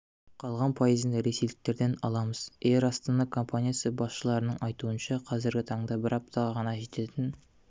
қалған пайызын ресейліктерден аламыз эйр астана компаниясы басшыларының айтуынша қазіргі таңда бір аптаға ғана жететін